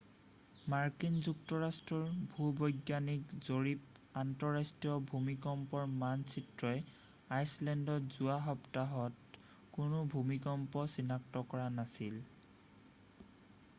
মাৰ্কিন যুক্তৰাষ্ট্ৰৰ ভূ-বৈজ্ঞানিক জৰীপৰ আন্তঃৰাষ্ট্ৰীয় ভূমিকম্পৰ মানচিত্ৰই আইচলেণ্ডত যোৱা সপ্তাহত কোনো ভূমিকম্প চিনাক্ত কৰা নাছিল